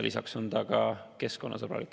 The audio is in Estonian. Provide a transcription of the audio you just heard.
Lisaks on see keskkonnasõbralik.